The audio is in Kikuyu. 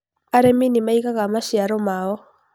arĩmi nĩmaĩgaga maciaro mao